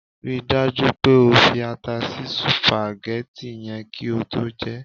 Ri dájú pé o fi ata sí sùpàgẹ́tì yẹn kí o tó jẹ ẹ́!